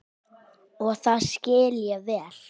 Og það skil ég vel.